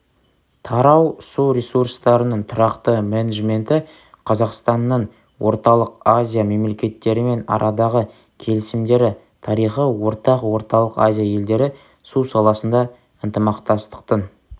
тарау су ресурстарының тұрақты менеджменті қазақстанның орталық азия мемлекеттерімен арадағы келісімдері тарихы ортақ орталық азия елдері су саласында ынтымақтастықтың